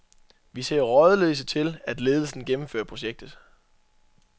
Vi ser rådløse til, at ledelsen gennemfører projektet.